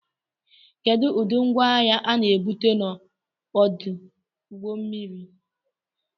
Kedu ụdị ngwaahịa a na-ebuga n'ọdụ ụgbọ mmiri